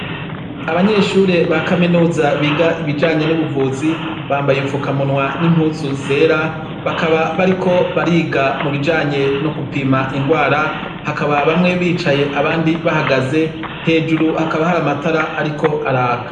Abanyeshure ba Kaminuza biga ibijanye n'ubuvuzi, bambaye ubufukamunwa n'impuzu zera bakaba bariko bariga mibijanye n'ugupima inrwara, hakaba bamwe bicaye abandi bahagaze hejuru hakaba hari amatara ariko araka.